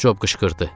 Cob qışqırdı.